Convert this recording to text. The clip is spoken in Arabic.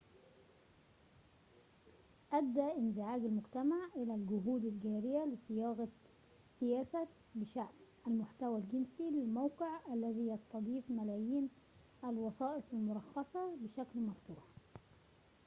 أدى انزعاج المجتمع إلى الجهود الجارية لصياغة سياسة بشأن المحتوى الجنسي للموقع الذي يستضيف ملايين الوسائط المرخصة بشكل مفتوح